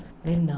Ele, não.